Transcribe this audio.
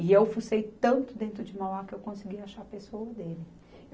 E eu fucei tanto dentro de Mauá que eu consegui achar a pessoa dele.